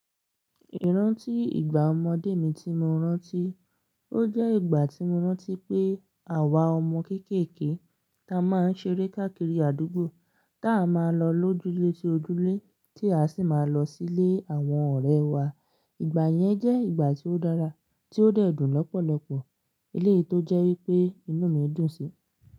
Ìrántí ìgbà ọmọdé mi tí mo rántí, ó jẹ́ ìgbà tí mo rántí pé àwa ọmọ kéékèèké ta máa ń ṣeré káàkiri àdúgbò, táa máa lọ lójúlé tí ojúlé, tí a sì máa lọ sílé àwọn ọ̀rẹ́ wa. Ìgbà yẹn jẹ́ ìgbà tí ó dára, tí ó dẹ̀ dùn lọ́pọ̀lọpọ̀. Eléyìí tó jẹ́ wípé inú mi dùn síi.